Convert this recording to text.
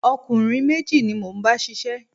Ọ̀kùnrin méjì ni mo ń bá ṣiṣẹ́